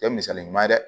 Kɛ misali ɲuman ye dɛ